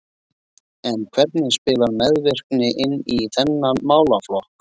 En hvernig spilar meðvirkni inn í þennan málaflokk?